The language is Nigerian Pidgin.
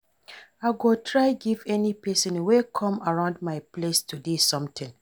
I go try give any pesin wey come around my place today something.